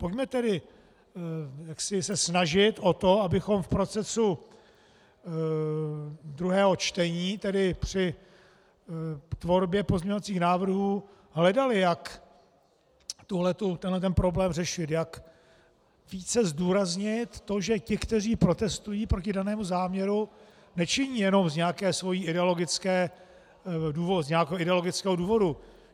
Pojďme tedy se snažit o to, abychom v procesu druhého čtení, tedy při tvorbě pozměňovacích návrhů, hledali, jak tenhle problém řešit, jak více zdůraznit to, že ti, kteří protestují proti danému záměru, nečiní jenom z nějakého ideologického důvodu.